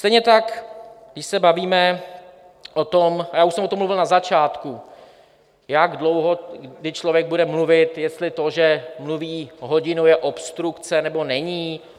Stejně tak když se bavíme o tom - a já už jsem o tom mluvil na začátku - jak dlouho, když člověk bude mluvit, jestli to, že mluví hodinu, je obstrukce, nebo není.